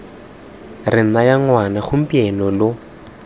re naya ngwana gompieno lo